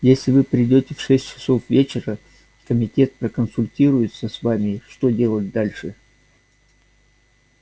если вы придёте в шесть часов вечера комитет проконсультируется с вами что делать дальше